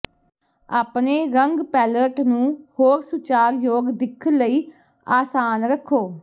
ਆਪਣੇ ਰੰਗ ਪੈਲਅਟ ਨੂੰ ਹੋਰ ਸੁਚਾਰਯੋਗ ਦਿੱਖ ਲਈ ਆਸਾਨ ਰੱਖੋ